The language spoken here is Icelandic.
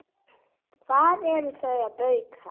Hvað ertu að bauka?